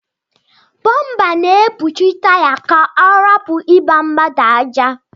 Bomba na ekpuchi taya ka ọrapu igba mmadu aja.